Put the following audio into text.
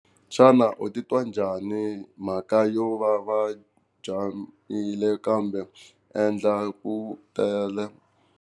Xana u titwa njhani mhaka yo va jahile kambe ndlela yi tele?